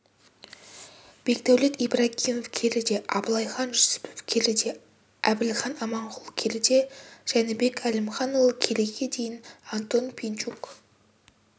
бекдәулет ибрагимов келіде абылайхан жүсіпов келіде әбілхан аманқұл келіде жәнібек әлімханұлы келіге дейін антон пинчук